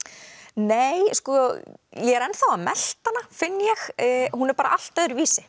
nei sko ég er ennþá að melta hana finn ég hún er allt öðruvísi